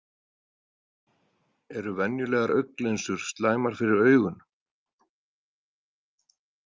Eru venjulegar augnlinsur slæmar fyrir augun?